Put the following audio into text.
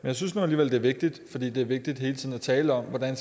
jeg synes nu alligevel det er vigtigt fordi det er vigtigt hele tiden at tale om hvordan